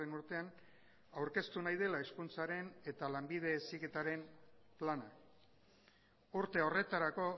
urtean aurkeztu nahi dela hezkuntzaren eta lanbide heziketaren plana urte horretarako